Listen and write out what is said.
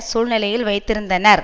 சூழ்நிலையில் வைத்திருந்தனர்